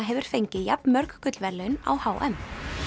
hefur fengið jafn mörg gullverðlaun á h m